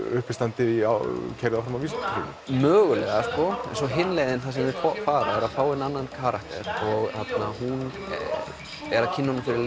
uppistandi keyrt áfram af vísindunum mögulega svo hin leiðin að fá annan karakter og hún er að kynna honum fyrir